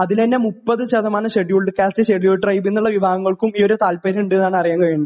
അതിൽ നിന്ന് തന്നെ മുപ്പത് ശതമാനം ഷെഡ്യൂൾഡ് കാസ്റ് ഷെഡ്യൂൾഡ് ട്രൈബ് ന്നുള്ള വിഭാഗങ്ങൾക്കും താല്പര്യമുണ്ട് എന്നാണ് അറിയാൻ കഴിഞ്ഞത്